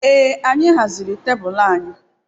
Ee anyị haziri tebụl anyị